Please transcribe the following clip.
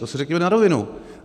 To si řekněme na rovinu.